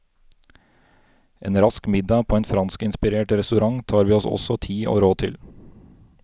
En rask middag på en franskinspirert restaurant tar vi oss også tid og råd til.